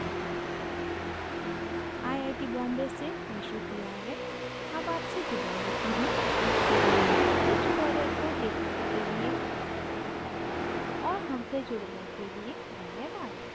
iit iit the Bombay से मैं श्रुति आर्य अब आपसे विदा लेती हूँ इस tutorial को देखने के लिए और हमसे जुड़ने के लिए धन्यवाद